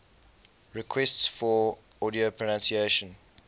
requests for audio pronunciation